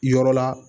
Yɔrɔ la